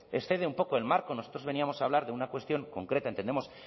excede un poco el marco nosotros veníamos a hablar de una cuestión concreta entendemos